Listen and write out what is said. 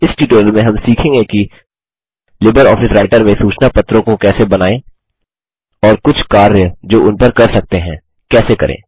इस ट्यूटोरियल में हम सीखेंगे कि लिबर ऑफिस राइटर में सूचना पत्रों को कैसे बनाएँ और कुछ कार्य जो उन पर कर सकते हैं कैसे करें